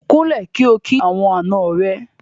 Kúnlẹ̀ kí o kí àwọn àna rẹ.